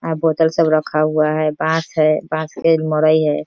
आ बोतल सब रखा हुआ है बांस है बांस पे एक मड़ई है।